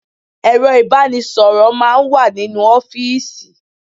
Ẹ̀rọ ìbánisọ̀rọ̀ máà ń wà nínú ọ́fìsì.